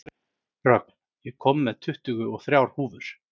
Rögn, ég kom með tuttugu og þrjár húfur!